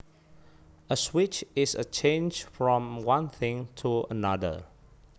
A switch is a change from one thing to another